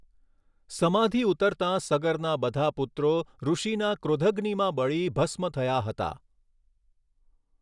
સમાધિ ઉતરતાં સગરના બધા પુત્રો ઋષિના ક્રોધગ્નિમાં બળી ભસ્મ થયા હતા.